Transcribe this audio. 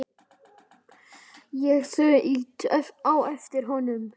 Ég þaut á eftir honum.